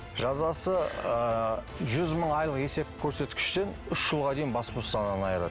жазасы ыыы жүз мың айлық есеп көрсеткіштен үш жылға дейін бас бостандығынан айырады